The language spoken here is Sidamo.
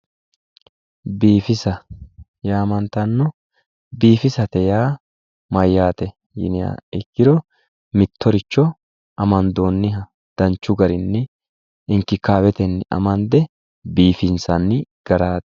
Biifisa yaamantanno, biifisate yaa mayyaate yiniha ikkiro mittoricho amandoonniha danchu garinni inkikaabetenni amande biifinsanni garaati.